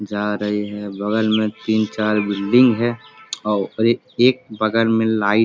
जा रही है बगल में तीन चार बिल्डिंग है और एक एक बगल में लाइट --